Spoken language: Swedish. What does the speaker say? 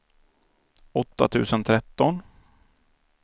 åtta tusen tretton